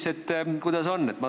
Ma küsingi, kuidas sellega on.